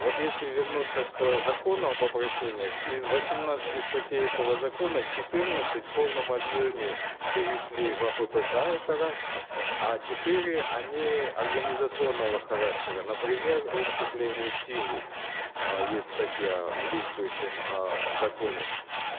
вот если вернуться к закону об обращениях из восемнадцати статей этого закона четырнадцать в полном объеме перешли в аппк это раз а четыре они организационного характера например о вступлении в силу э есть статья э в действующем э законе